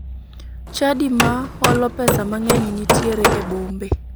Chadi ma holo pesa mang'eny nitiere e bombe.